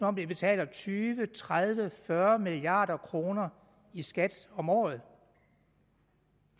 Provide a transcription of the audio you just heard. om de betaler tyve tredive fyrre milliard kroner i skat om året